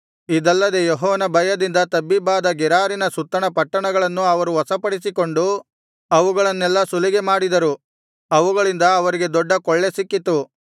ಇದಲ್ಲದೆ ಯೆಹೋವನ ಭಯದಿಂದ ತಬ್ಬಿಬ್ಬಾದ ಗೆರಾರಿನ ಸುತ್ತಣ ಪಟ್ಟಣಗಳನ್ನು ಅವರು ವಶಪಡಿಸಿಕೊಂಡು ಅವುಗಳನ್ನೆಲ್ಲಾ ಸುಲಿಗೆಮಾಡಿದರು ಅವುಗಳಿಂದ ಅವರಿಗೆ ದೊಡ್ಡ ಕೊಳ್ಳೆ ಸಿಕ್ಕಿತು